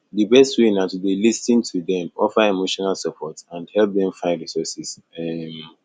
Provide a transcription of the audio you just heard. di best way na to dey lis ten to dem offer emotional support and help dem find resources um